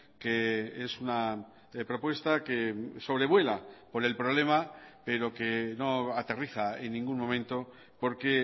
que es una propuesta que sobrevuela por el problema pero que no aterriza en ningún momento porque